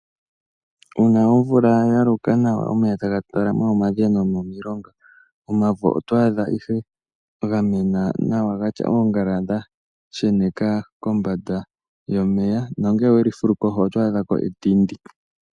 Uuna omvula ya loka nawa, omeya taga talama momadhiya nomomilonga, omavo oto adha ihe ga mena nawa ga tya oongala dha sheneka kombanda yomeya nongele owe li fulu kohi oto adha ko etindi.